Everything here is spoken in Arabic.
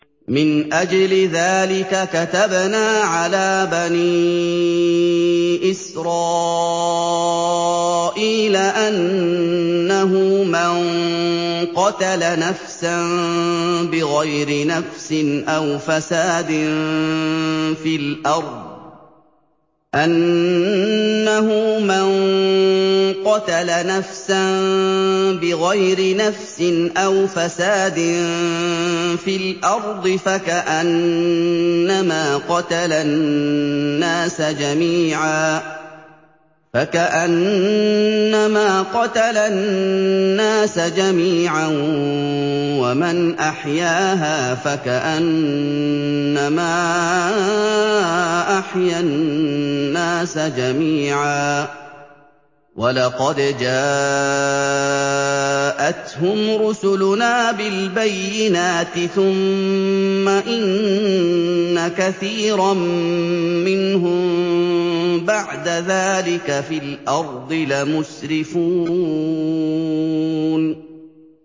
مِنْ أَجْلِ ذَٰلِكَ كَتَبْنَا عَلَىٰ بَنِي إِسْرَائِيلَ أَنَّهُ مَن قَتَلَ نَفْسًا بِغَيْرِ نَفْسٍ أَوْ فَسَادٍ فِي الْأَرْضِ فَكَأَنَّمَا قَتَلَ النَّاسَ جَمِيعًا وَمَنْ أَحْيَاهَا فَكَأَنَّمَا أَحْيَا النَّاسَ جَمِيعًا ۚ وَلَقَدْ جَاءَتْهُمْ رُسُلُنَا بِالْبَيِّنَاتِ ثُمَّ إِنَّ كَثِيرًا مِّنْهُم بَعْدَ ذَٰلِكَ فِي الْأَرْضِ لَمُسْرِفُونَ